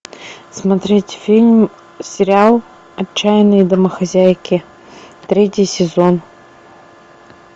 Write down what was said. смотреть фильм сериал отчаянные домохозяйки третий сезон